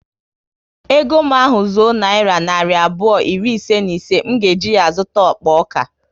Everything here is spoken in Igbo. Ego m ahu zuo nayira narị abụọ iri ise na ise, m ga eji ya zụta akpa ọka